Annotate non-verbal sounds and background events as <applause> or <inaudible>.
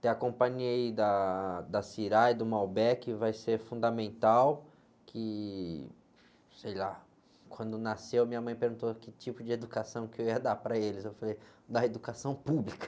ter a companhia, aí, da, da <unintelligible> e do <unintelligible> vai ser fundamental, que, sei lá, quando nasceu, minha mãe perguntou que tipo de educação que eu ia dar para eles, eu falei, dar educação pública.